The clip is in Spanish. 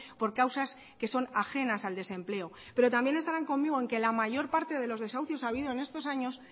por causas que son ajenas al desempleo pero también estarán conmigo en que la mayor parte de los desahucios ha habidos en estos años